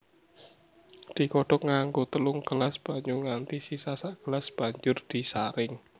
Digodhog nganggo telung gelas banyu nganti sisa sagelas banjur disaring